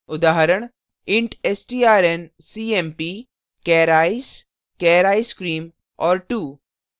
उदाहरण int strncmp char ice char icecream और 2;